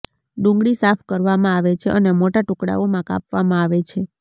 ડુંગળી સાફ કરવામાં આવે છે અને મોટા ટુકડાઓમાં કાપવામાં આવે છે